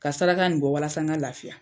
Ka saraka in bɔ walasa n ka lafiya.